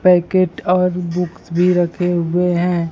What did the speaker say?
Packet और books भी रखे हुए हैं।